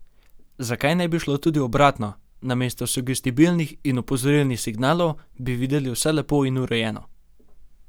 Zakaj ne bi šlo tudi obratno, namesto sugestibilnih in opozorilnih signalov bi videli vse lepo in urejeno?